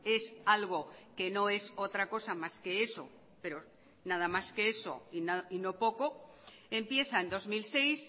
es algo que no es otra cosa más que eso pero nada más que eso y no poco empieza en dos mil seis